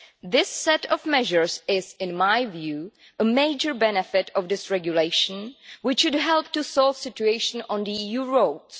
This set of measures is, in my view, a major benefit of this regulation which should help to solve the situation on EU roads.